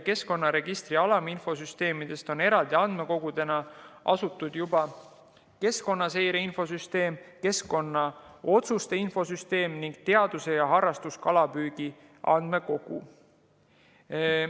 Keskkonnaregistri alaminfosüsteemidest on eraldi andmekogudena asutatud juba keskkonnaseire infosüsteem, keskkonnaotsuste infosüsteem ning teadus‑ ja harrastuskalapüügi andmekogu.